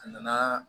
A nana